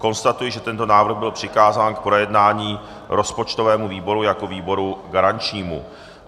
Konstatuji, že tento návrh byl přikázán k projednání rozpočtovému výboru jako výboru garančnímu.